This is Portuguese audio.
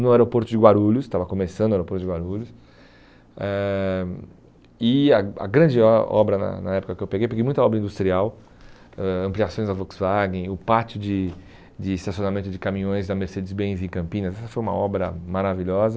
no aeroporto de Guarulhos, estava começando o aeroporto de Guarulhos, ãh e a a grande o obra na na época que eu peguei, peguei muita obra industrial, ãh ampliações da Volkswagen, o pátio de de estacionamento de caminhões da Mercedes Benz em Campinas, essa foi uma obra maravilhosa,